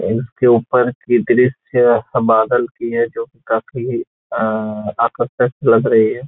इसके ऊपर की दृश्य बादल की है जो की काफी आ-आकर्षक लग रही है।